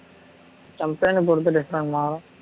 company பொறுத்து different மாறும்